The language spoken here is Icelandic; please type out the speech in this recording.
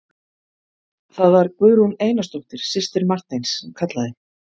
Það var Guðrún Einarsdóttir, systir Marteins sem kallaði.